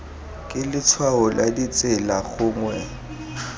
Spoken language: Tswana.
ke letshwao la tsela gongwe